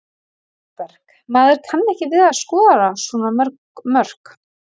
Vilberg: Maður kann ekki við að skora svona mörg mörk.